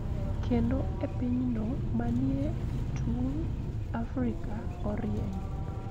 Kendo e pinyno manie e tung ' Afrika, orieny